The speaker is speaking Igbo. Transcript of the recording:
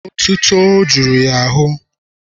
Otuto jụrụ ya n'ahụ.